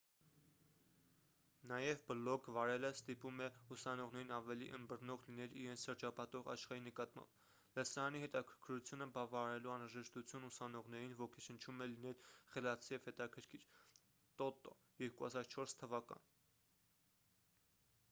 նաև բլոգ վարելը «ստիպում է ուսանողներին ավելի ըմբռնող լինել իրենց շրջապատող աշխարհի նկատմամբ»: լսարանի հետաքրքրությունը բավարարելու անհրաժեշտությունն ուսանողներին ոգեշնչում է լինել խելացի և հետաքրքիր տոտո 2004 թվական: